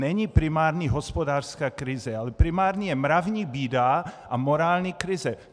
Není primární hospodářská krize, ale primární je mravní bída a morální krize.